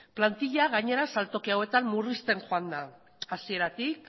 plantilla gainera saltoki hauetan murrizten joan da hasietatik